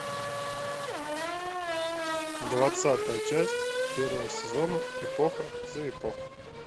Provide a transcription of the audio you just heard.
двадцатая часть первого сезона эпоха за эпохой